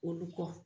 Olu kɔ